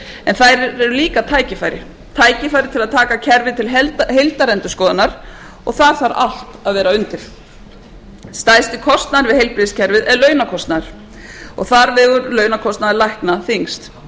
en þær eru líka tækifæri tækifæri til að taka kerfið til heildarendurskoðun og þar þarf allt að vera undir stærsti kostnaðurinn við heilbrigðiskerfið er launakostnaður og þar vegur launakostnaður lækna þyngst